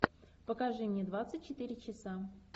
покажи мне двадцать четыре часа